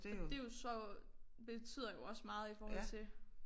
Og det jo så betyder jo også meget i forhold til